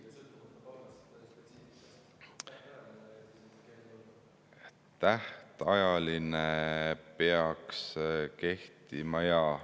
Tähtajaline peaks kehtima, jah.